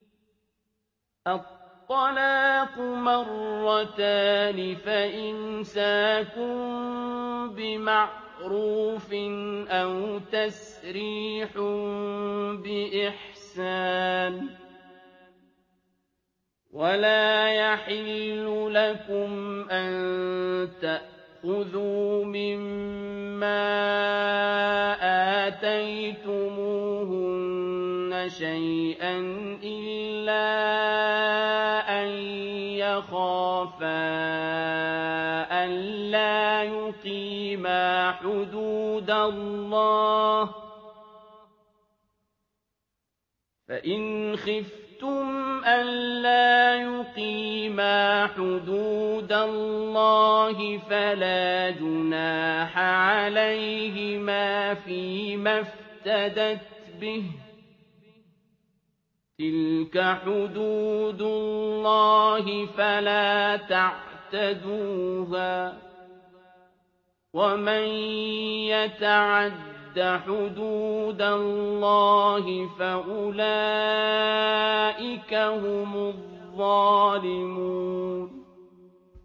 الطَّلَاقُ مَرَّتَانِ ۖ فَإِمْسَاكٌ بِمَعْرُوفٍ أَوْ تَسْرِيحٌ بِإِحْسَانٍ ۗ وَلَا يَحِلُّ لَكُمْ أَن تَأْخُذُوا مِمَّا آتَيْتُمُوهُنَّ شَيْئًا إِلَّا أَن يَخَافَا أَلَّا يُقِيمَا حُدُودَ اللَّهِ ۖ فَإِنْ خِفْتُمْ أَلَّا يُقِيمَا حُدُودَ اللَّهِ فَلَا جُنَاحَ عَلَيْهِمَا فِيمَا افْتَدَتْ بِهِ ۗ تِلْكَ حُدُودُ اللَّهِ فَلَا تَعْتَدُوهَا ۚ وَمَن يَتَعَدَّ حُدُودَ اللَّهِ فَأُولَٰئِكَ هُمُ الظَّالِمُونَ